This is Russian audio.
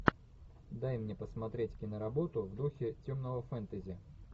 дай мне посмотреть киноработу в духе темного фэнтези